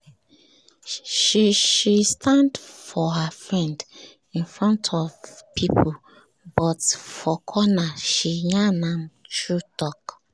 she she stand for her friend in front of people but for corner she yarn am true talk.